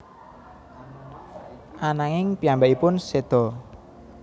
Ananging piyambakipun seda